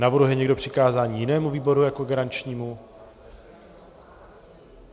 Navrhuje někdo přikázání jinému výboru jako garančnímu?